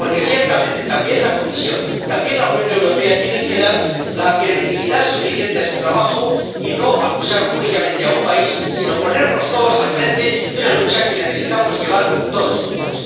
Porque, ciertamente, también la Comisión, también la Unión Europea tienen que dar credibilidad suficiente a su trabajo y no acusar únicamente a un país, sino ponernos todos al frente de una lucha que debemos librar todos juntos.